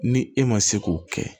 Ni e ma se k'o kɛ